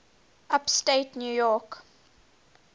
upstate new york